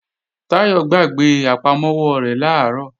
Táyọ̀ gbàgbé àpamọ́wọ́ rẹ̀ làárọ̀